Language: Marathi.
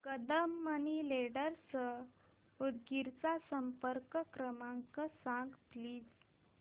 कदम मनी लेंडर्स उदगीर चा संपर्क क्रमांक सांग प्लीज